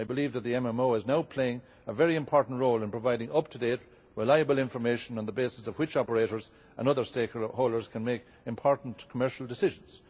that. I believe that the MMO is now playing a very important role in providing up to date, reliable information, on the basis of which, operators and other stakeholders can make important commercial decisions.